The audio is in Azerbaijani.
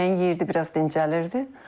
Yeməyin yeyirdi, biraz dincəlirdi.